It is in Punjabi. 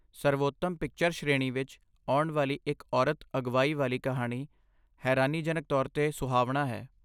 ਸਰਵੋਤਮ ਪਿਕਚਰ ਸ਼੍ਰੇਣੀ ਵਿੱਚ ਆਉਣ ਵਾਲੀ ਇੱਕ ਔਰਤ ਅਗਵਾਈ ਵਾਲੀ ਕਹਾਣੀ ਹੈਰਾਨੀਜਨਕ ਤੌਰ 'ਤੇ ਸੁਹਾਵਣਾ ਹੈ